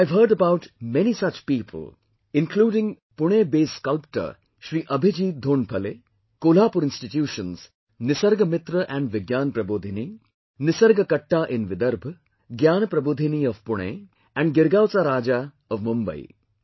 I have heard about many such people including Pune based sculptor Shri Abhijit Dhondphale, Kolhapur institutions NisargMitra and Vigyan Prabodhini, Nisarg Katta in Vidarbh, Gyan Prabodhini of Pune, and Girgaoncha Raja of Mumbai